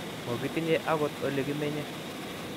Mokitinye agot ole kimenye